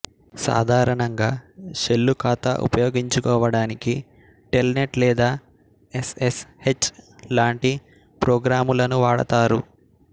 సాధారణంగా షెల్లు ఖాతా ఉపయోగించుకోవడానికి టెల్నెట్ లేదా ఎస్ ఎస్ హెచ్ లాంటి ప్రోగ్రాములను వాడతారు